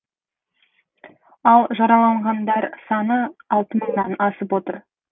ал жараланғандар саны алты мыңнан асып отыр